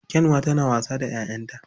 Kyanwa tana wasa da 'ya'yanta